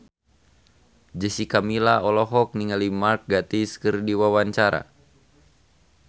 Jessica Milla olohok ningali Mark Gatiss keur diwawancara